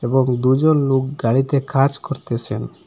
এবং দুজন লোক গাড়িতে কাজ করতেসেন।